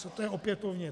Co to je opětovně?